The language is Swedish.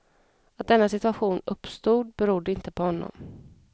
Att denna situation uppstod berodde inte på honom.